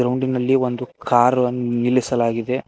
ಗ್ರೌಂಡಿನಲ್ಲಿ ಒಂದು ಕಾರ್ ಅನ್ ನಿಲ್ಲಿಸಲಾಗಿದೆ.